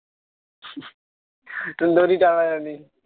সুন্দরী টাকা দেয়নি